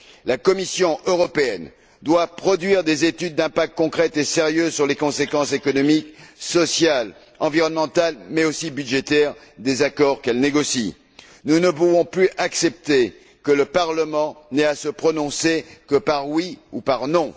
La Commission européenne doit produire des études d'impact concrètes et sérieuses sur les conséquences économiques, sociales, environnementales mais aussi budgétaires des accords qu'elle négocie. Nous ne pouvons plus accepter que le Parlement n'ait à se prononcer que par oui ou par non.